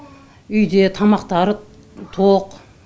үйде тамақтары тоқ